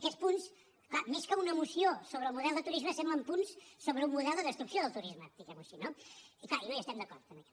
aquests punts clar més que una moció sobre el model de turisme semblen punts sobre un model de destrucció del turisme diguem ho així no i clar no hi estem d’acord amb aquest